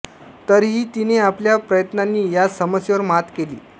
तरीही तिने आपल्या प्रयत्नानी या समस्येवर मात केली